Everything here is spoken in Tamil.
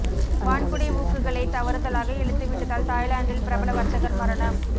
வான்குடை ஊக்குகளைத் தவறுதலாக இழுத்துவிட்டதால் தாய்லாந்தில் பிரபல வர்த்தகர் மரணம்